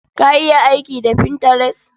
Ka iya aiki da Pinterest?